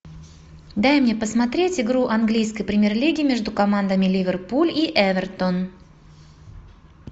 дай мне посмотреть игру английской премьер лиги между командами ливерпуль и эвертон